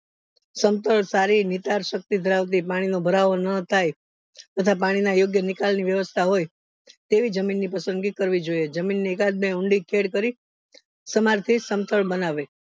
સમતલ સારી શક્તિ ધરાવતી પાણી નો ભરવો ન થાય તથા પાણી ના યોગ્ય નિકાલ ની વ્યવસ્થા હોય તેવી જમીન ની પસંદગી કરવી જોઈએ જમીન ઊંડી ખેદ કરી સમાન સમતલ બનાવે